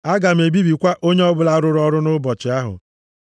Aga m ebibikwa onye ọbụla rụrụ ọrụ nʼụbọchị ahụ.